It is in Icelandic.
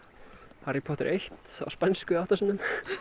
Harry Potter eitt á spænsku átta sinnum